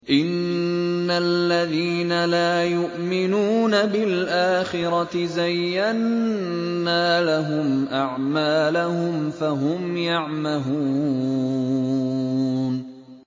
إِنَّ الَّذِينَ لَا يُؤْمِنُونَ بِالْآخِرَةِ زَيَّنَّا لَهُمْ أَعْمَالَهُمْ فَهُمْ يَعْمَهُونَ